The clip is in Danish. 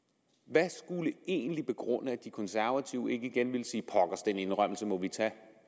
hvad skulle egentlig begrunde at de konservative ikke igen vil sige pokkers den indrømmelse må vi tage